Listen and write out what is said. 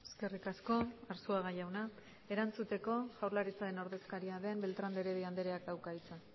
eskerrik asko arzuaga jauna erantzuteko jaurlaritzaren ordezkaria den beltrán de heredia andereak dauka hitza